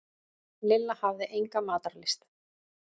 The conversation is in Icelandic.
Lilla hafði enga matarlyst.